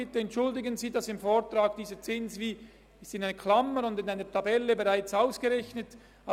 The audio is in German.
Bitte entschuldigen Sie, dass dieser Zins im Vortrag in Klammern und in einer Tabelle bereits genannt wird.